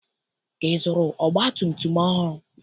Ị zụrụ ọgbatumtum ọhụrụ?